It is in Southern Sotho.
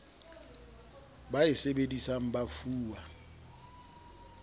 ba e sebedisang ba fuwa